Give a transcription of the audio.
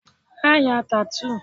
Má ya tattoo!